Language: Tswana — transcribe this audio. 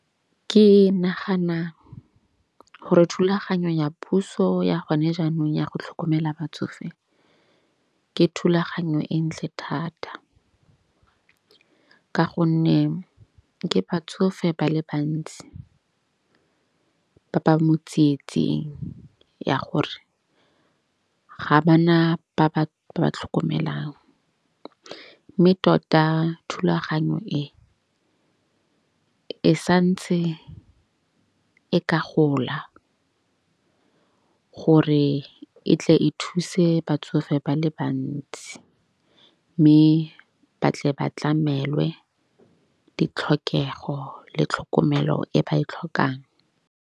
Ke nagana gore thulaganyo ya puso ya gone jaanong ya go tlhokomela batsofe, ke thulaganyo e ntle thata. Ka gonne ke batsofe ba le bantsi ba ba mo tsietsing ya gore ga bana ba ba tlhokomelang. Mme tota thulaganyo e e santse e ka gola, gore e tle e thuse batsofe ba le bantsi. Mme ba tle ba tlamelwe ditlhokego le tlhokomelo e ba e tlhokang.